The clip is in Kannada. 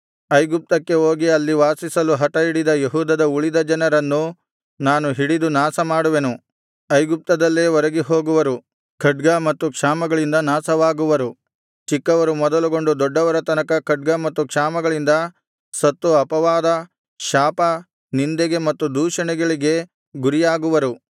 ಐಗುಪ್ತಕ್ಕೆ ಹೋಗಿ ಅಲ್ಲಿ ಪ್ರವಾಸಿಸಲು ಹಟಹಿಡಿದ ಯೆಹೂದದ ಉಳಿದ ಜನರನ್ನು ನಾನು ಹಿಡಿದು ನಾಶಮಾಡುವೆನು ಐಗುಪ್ತದಲ್ಲೇ ಒರಗಿ ಹೋಗುವರು ಖಡ್ಗ ಮತ್ತು ಕ್ಷಾಮಗಳಿಂದ ನಾಶವಾಗುವರು ಚಿಕ್ಕವರು ಮೊದಲುಗೊಂಡು ದೊಡ್ಡವರ ತನಕ ಖಡ್ಗ ಮತ್ತು ಕ್ಷಾಮಗಳಿಂದ ಸತ್ತು ಅಪವಾದ ಶಾಪ ನಿಂದೆಗೆ ಮತ್ತು ದೂಷಣೆಗಳಿಗೆ ಗುರಿಯಾಗುವರು